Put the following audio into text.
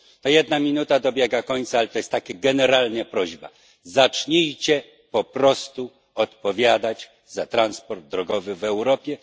Ta jedna minuta dobiega końca, ale mam taką generalną prośbę zacznijcie po prostu odpowiadać za transport drogowy w Europie.